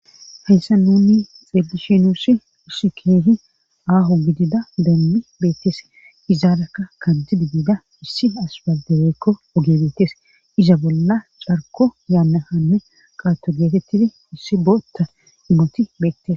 heyssa nuni xelishinusi usikehi aaho gidida dammi beettes izaarakka kantidi biida issi asbaldebeekko ogebeettes iza bolla charko yaanna hanne qaato geetettidi issi bootta imoti beette